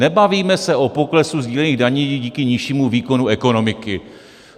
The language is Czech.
Nebavíme se o poklesu sdílených daní díky nižšímu výkonu ekonomiky.